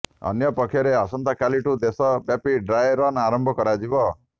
ଅନ୍ୟ ପକ୍ଷରେ ଆସନ୍ତାକାଲିଠାରୁ ଦେଶ ବ୍ୟାପି ଡ୍ରାଏ ରନ୍ ଆରମ୍ଭ କରାଯିବ